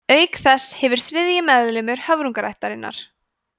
auk þess hefur þriðji meðlimur hröfnungaættarinnar